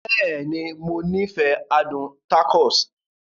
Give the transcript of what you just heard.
Bẹ́ẹ̀ni, Mo nifẹ adun tacos.